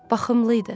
Baxımlı idi.